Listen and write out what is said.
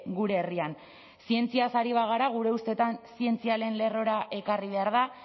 gure herrian zientziaz ari bagara gure ustetan zientzia lehen lerrora ekarri behar da